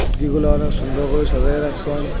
গুলো অনেক সুন্দর করে সাজায়ে রাখসেন।